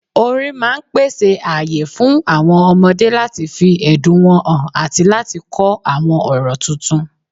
Orin máà pèsè ààyè fún àwọn ọmọdé láti fi ẹ̀dùn wọn hàn àti láti kọ́ àwọn ọ̀rọ̀ tuntun.